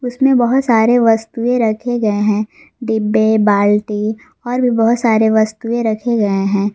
उसमे बहोत सारे वस्तुएँ रखे गये हैं डिब्बे बालटी और भीं बहुत सारे वस्तुएँ रखे गये हैं।